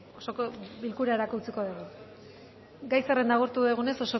osoko bilkurarako utziko dugu gai zerrenda agortu dugunez